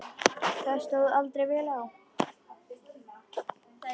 Það stóð aldrei vel á.